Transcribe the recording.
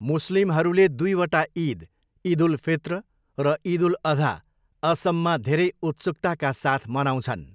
मुस्लिमहरूले दुईवटा इद, इद उल फित्र र इद उल अधा, असममा धेरै उत्सुकताका साथ मनाउँछन्।